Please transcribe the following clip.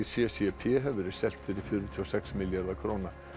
c c p hefur verið selt fyrir fjörutíu og sex milljarða króna